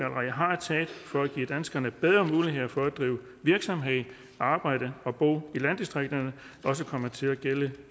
har taget for at give danskerne bedre mulighed for at drive virksomhed og arbejde og bo i landdistrikterne også komme til at gælde